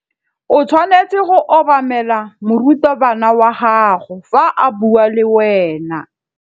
O tshwanetse go obamela morutabana wa gago fa a bua le wena.